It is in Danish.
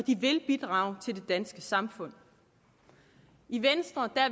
vil bidrage til det danske samfund i venstre er